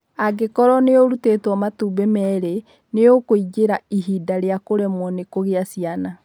Angĩkorũo nĩ ũrutĩtwo matumbĩ merĩ, nĩ ũkũingĩra ihinda rĩa kũremwo nĩ kũgĩa ciana.